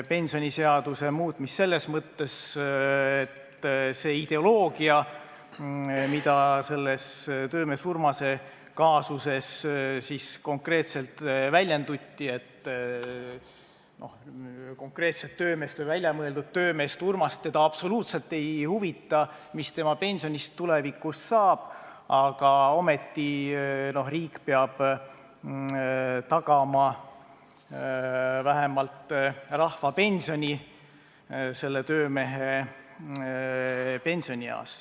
On ju töömees Urmase juhtumit kommenteerides väljendatud ka ideoloogiat, et kuigi konkreetset või väljamõeldud töömeest Urmast absoluutselt ei huvita, mis tema pensionist tulevikus saab, peab riik ikkagi tagama sellele töömehele vähemalt rahvapensioni.